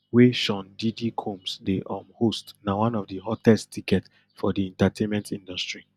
wey sean diddy combs dey um host na one of di hottest ticket for di entertainment industry